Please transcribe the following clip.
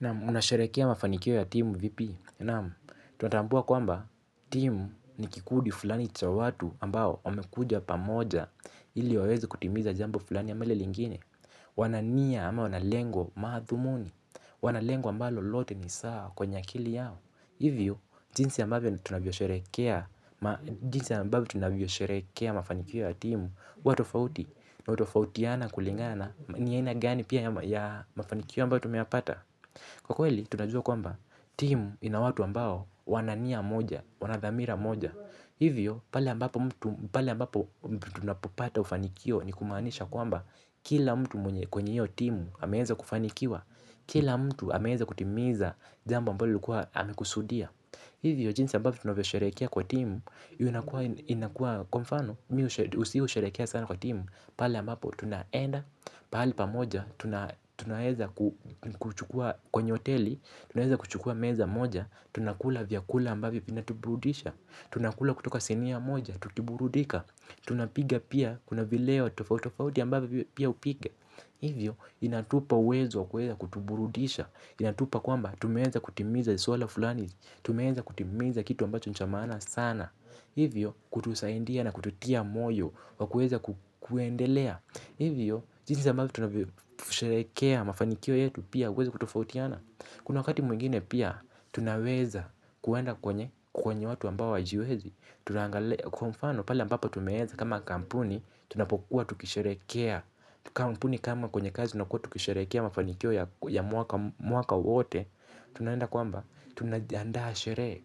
Naam, unasherekea mafanikio ya timu vipi. Naam, tunatambua kwamba timu ni kikudi fulani cha watu ambao wamekuja pamoja ili wawezi kutimiza jambo fulani ama lile lingine. Wanania ama wanalengo madhumuni. Wanalengo ambalo lote ni sawa kwenye akili yao. Hivyo, jinsi ambavyo tunavyosherekea mafanikio ya timu huwa tofauti, unatofautiana kulingana ni aina gani pia ya mafanikio ambayo tumeyapata. Kwa kweli, tunajua kwamba timu ina watu ambao wana nia moja, wanadhamira moja. Hivyo, pale ambapo tunapopata ufanikio ni kumanisha kwamba kila mtu mwenye kwenye hio timu ameweza kufanikiwa. Kila mtu ameweza kutimiza jamba ambalo lukua amekusudia. Hivyo jinsi ambavyo tunavyo sharehekea kwa timu inakuwa kwa mfano, si husherehekea sana kwa timu. Pale ambapo tunaenda, pahali pamoja, tunaweza kuchukua kwenye hoteli. Tunaweza kuchukua meza moja, tunakula vyakula ambavyo vinatuburudisha. Tunakula kutoka sinia moja, tukiburudika. Tunapiga pia, kuna vileo tofautitofauti ambavyo pia hupiga. Hivyo, vinatupa uwezo wa kuweza kutuburudisha. Inatupa kwamba, tumeweza kutimiza suala fulani. Tumeweza kutimiza kitu ambacho ni cha maana sana. Hivyo, kutusaidia na kututia moyo wa kuweza kuendelea. Hivyo, jinsi ambavyo tunavyosherekea mafanikio yetu pia uweza kutofautiana. Kuna wakati mwingine pia, tunaweza kuenda kwenye kwenye watu ambao hawajiwezi. Kwa mfano, pala ambapo tumeweza kama kampuni. Tunapokuwa tukisherehekea kampuni kama kwenye kazi na kuwa tukisherehekea mafanikio ya mwaka wote. Tunaenda kwamba, tunajiandaa sherehe.